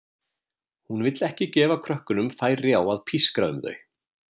Hún vill ekki gefa krökkunum færi á að pískra um þau.